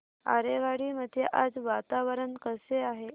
आरेवाडी मध्ये आज वातावरण कसे आहे